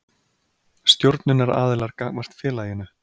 Stjórnunaraðilar gagnvart félaginu.